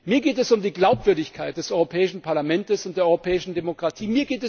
Mir geht es um die Glaubwürdigkeit des Europäischen Parlaments und der europäischen Demokratie.